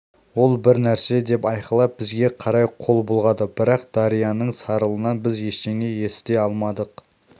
ол бір нәрсе деп айқайлап бізге қарай қол бұлғады бірақ дарияның сарылынан біз ештеңе есіте алмадық